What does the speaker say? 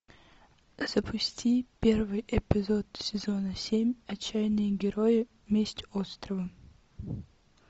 запусти первый эпизод сезона семь отчаянные герои месть острова